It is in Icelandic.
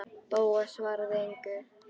Bóas svaraði engu.